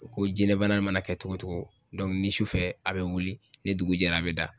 Ko jinɛ bana mana kɛ togo togo ni sufɛ a bɛ wuli ni dugu jɛra a bɛ da.